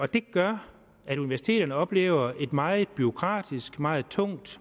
det gør at universiteterne oplever et meget bureaukratisk meget tungt